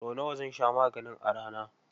Sau nawa zan sha maganin a rana?